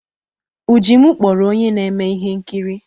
Ujimu kpọrọ onye na-eme ihe nkiri.